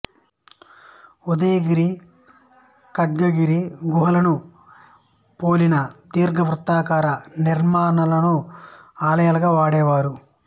ఉదయగిరి ఖండగిరి గుహలను పోలిన దీర్ఘవృత్తాకార నిర్మాణాలను ఆలయాలుగా వాడేవారు